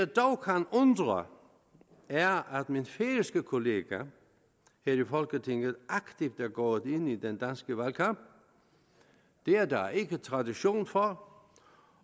dog kan undre er at min færøske kollega her i folketinget aktivt er gået ind i den danske valgkamp det er der ikke tradition for